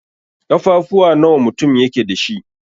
Ƙafafuwa nawa mutum yake dash?